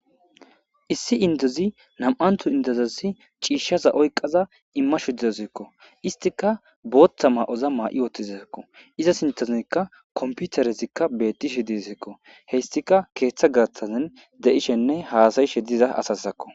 Issi indozi nam'antu indozasi ciishshaza oyqaza imma shu dezazikko istika booththa maa'oza maa'i oothtizaekko iza sintozikka komputarezikka bettishi disekko hestika keeththa gaathazin de'ishenne haasayishe diza asasakko.